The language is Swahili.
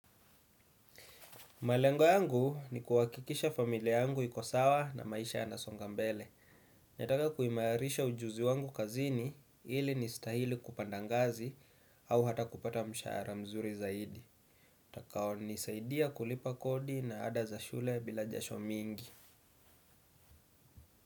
Malengo yangu ni kuhakikisha familia yangu ikosawa na maisha yanasongambele. Netaka kuimarisha ujuzi wangu kazini ili nistahili kupandangazi au hata kupata mshahara mzuri zaidi. Takao nisaidia kulipa kodi na ada za shule bila jasho mingi.